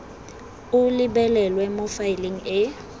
o lebelelwe mo faeleng e